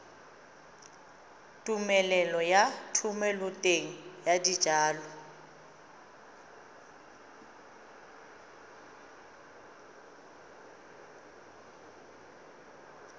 tumelelo ya thomeloteng ya dijalo